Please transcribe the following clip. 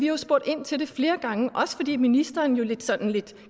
jo spurgt ind til det flere gange også fordi ministeren jo sådan lidt